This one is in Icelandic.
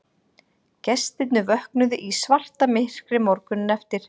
Gestirnir vöknuðu í svartamyrkri morguninn eftir